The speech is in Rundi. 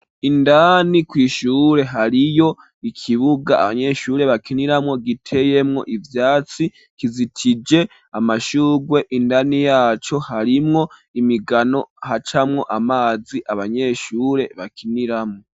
indani Kw ishure hariyo ikibuga abanyeshure bakiniramo giteyemwo ivyatsi kizitije amashugwe indani yaco harimwo imigano hacamwo amazi abanyeshure bakiniramo.